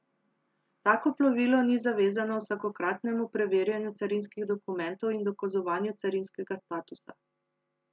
Tako plovilo ni zavezano vsakokratnemu preverjanju carinskih dokumentov in dokazovanju carinskega statusa.